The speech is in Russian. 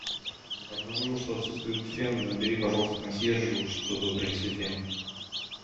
обнаружил что отсутствует фен набери пожалуйста консьержу чтобы принесли фен